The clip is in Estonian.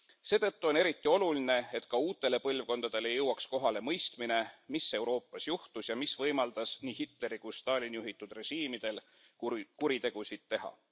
Seetõttu on eriti oluline, et ka uutele põlvkondadele jõuaks kohale mõistmine, mis Euroopas juhtus ja mis võimaldas nii Hitleri kui ka Stalini juhitud režiimidel kuritegusid teha.